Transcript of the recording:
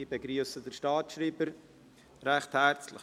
Ich begrüsse den Staatsschreiber recht herzlich.